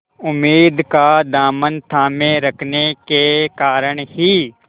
उम्मीद का दामन थामे रखने के कारण ही